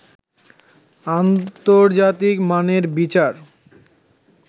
আন্তর্জাতিক মানের বিচার